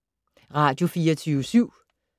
Radio24syv